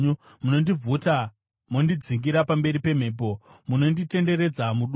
Munondibvuta mondidzingira pamberi pemhepo; munonditenderedza mudutu.